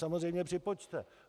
Samozřejmě připočte.